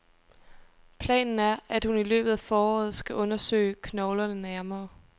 Planen er, at hun i løbet af foråret skal undersøge knoglerne nærmere.